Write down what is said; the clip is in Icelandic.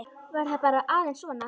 Var það bara aðeins svona?